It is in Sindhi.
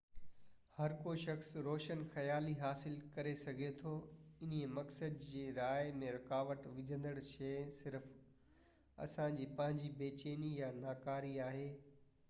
هر ڪو شخص روشن خيالي حاصل ڪري سگهي ٿو انهي مقصد جي راهه ۾ رڪاوٽ وجهندڙ شئي صرف اسان جي پنهنجي بي چيني ۽ ناڪاري آهي